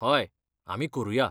हय, आमी करुया.